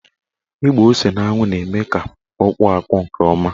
Ịgba ose n'anwụ na-eme ka ọ kpọọ akpọ nke ọma.